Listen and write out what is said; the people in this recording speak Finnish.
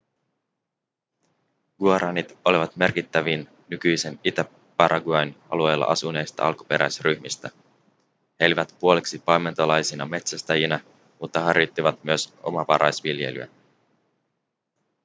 guaranit olivat merkittävin nykyisen itä-paraguayn alueella asuneista alkuperäisryhmistä he elivät puoliksi paimentolaisina metsästäjinä mutta harjoittivat myös omavaraisviljelyä